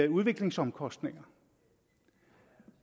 udviklingsomkostninger